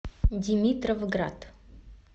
димитровград